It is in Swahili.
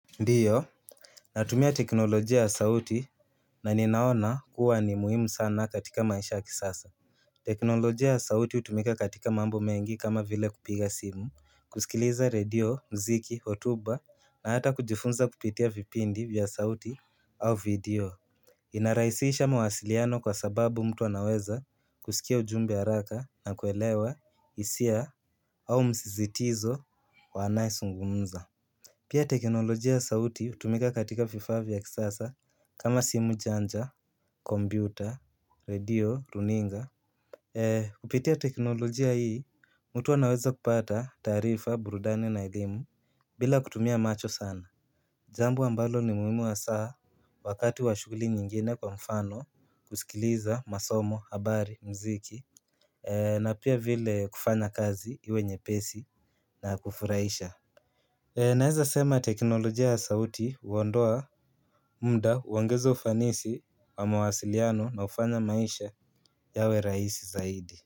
Ndiyo natumia teknolojia ya sauti na ninaona kuwa ni muhimu sana katika masha kisasa teknolojia ya sauti hutumika katika mambo mengi kama vile kupiga simu, kusikiliza radio, mziki, hotuba na hata kujifunza kupitia vipindi vya sauti au video inarahisisha mawasiliano kwa sababu mtu anaweza kusikia ujumbe haraka na kuelewa hisia au msisitizo wa anaezungumza Pia teknolojia ya sauti hutumika katika vifaa vya kisasa kama simu janja, kompyuta, radio, runinga Kupitia teknolojia hii, mtu anaweza kupata taarifa, burudani na elimu, bila kutumia macho sana Jambo ambalo ni muhimu hasaa, wakati wa shuguli nyingine kwa mfano, kusikiliza, masomo, habari, mziki na pia vile kufanya kazi, iwe nyepesi, na ya kufurahisha Naeza sema teknolojia sauti huondoa muda huongeza ufanisi wa mawasiliano na hufanya maisha yawe rahisi zaidi.